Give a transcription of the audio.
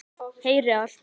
Heyri allt.